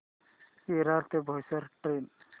विरार ते बोईसर ट्रेन